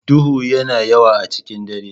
Duhu yana yawa a cikin dare.